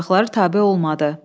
Dodaqları tabe olmadı.